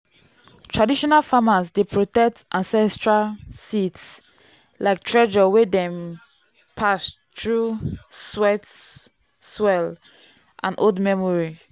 traditional farmers dey protect ancestral seeds like treasure wey dem pass through sweat swell and old memory.